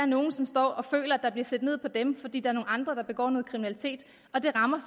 nogle som står og føler at der bliver set ned på dem fordi der er nogle andre der begår noget kriminalitet og det rammer